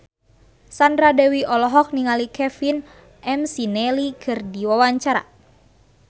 Sandra Dewi olohok ningali Kevin McNally keur diwawancara